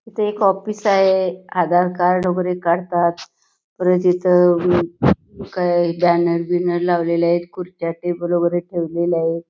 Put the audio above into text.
इथ एक ऑफिस आहे आधार कार्ड वैगेरे काढतात परत इथ बॅनर वैगेरे लावलेले आहेत खुर्च्या टेबल वैगेरे ठेवलेले आहेत|